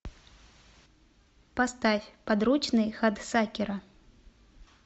поставь подручный хадсакера